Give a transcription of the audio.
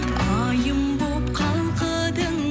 айым боп қалқыдың